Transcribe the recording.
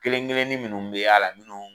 Kelen kelenni minnu bi y'a la munnu